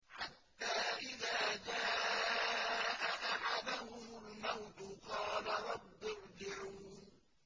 حَتَّىٰ إِذَا جَاءَ أَحَدَهُمُ الْمَوْتُ قَالَ رَبِّ ارْجِعُونِ